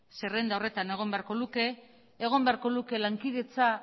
zerrenda horretan egon beharko luke egon beharko luke lankidetza